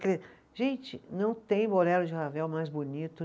Gente, não tem bolero de Ravel mais bonito.